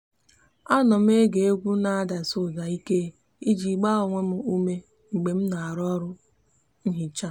a nom ege egwu n'adasi uda ike iji gba onwe m ume mgbe mna aro oru nhicha